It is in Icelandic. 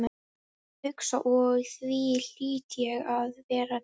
Ég hugsa og því hlýt ég að vera til.